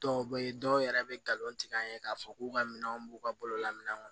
Dɔw bɛ ye dɔw yɛrɛ bɛ galon tigɛ an ye k'a fɔ k'u ka minɛnw b'u ka bolola minɛnw kɔnɔ